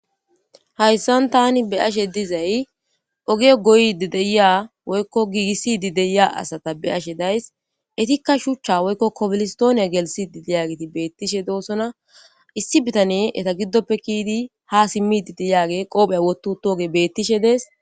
Hayssan tani be ashe dizay ogiyo goydi deya woykko giigissidi deya asata be ashe days etikka shuchcha woykko kobilistooniya gelsidi diyagiti beettishe doossona issi bitane eta giddoppe kiidi ha simmididiyaage qoopheya wotu tuoge bettishe dees.